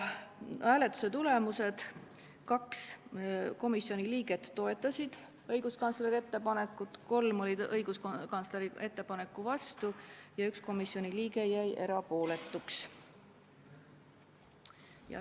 Hääletuse tulemused: 2 komisjoni liiget toetasid õiguskantsleri ettepanekut, 3 olid õiguskantsleri ettepaneku vastu ja 1 komisjoni liige jäi erapooletuks.